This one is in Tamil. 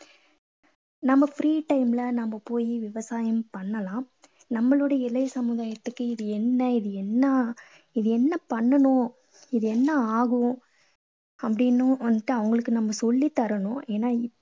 நம்ம free time ல நம்ம போய் விவசாயம் பண்ணலாம். நம்மாளோட இளைய சமுதாயத்துக்கு இது என்ன இது என்ன இது என்ன பண்ணணும்? இது என்ன ஆகும்? அப்படீன்னு வந்துட்டு அவங்களுக்கு நம்ம சொல்லித் தரணும். ஏன்னா